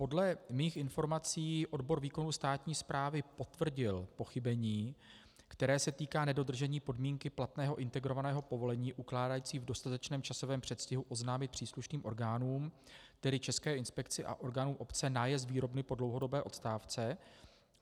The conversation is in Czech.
Podle mých informací odbor výkonu státní správy potvrdil pochybení, které se týká nedodržení podmínky platného integrovaného povolení ukládající v dostatečném časovém předstihu oznámit příslušným orgánům, tedy České inspekci a orgánům obce, nájezd výrobny po dlouhodobé odstávce.